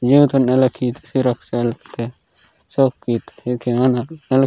जेव तोन अलखीद सूरक सल किंदे सौ कित अनर अलक --